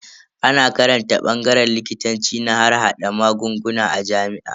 Ana karantar bangaren likitanci na harhada magunguna a jami'a.